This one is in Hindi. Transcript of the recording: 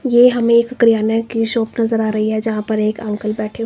ये हम एक क्र्याना की शॉप नजर आ रही है जहां पर एक अंकल बैठे--